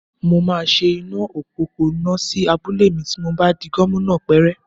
Mo máa ṣe iná òpópónà sí abúlé mi ti mo bá di gómìnà pẹ́rẹ́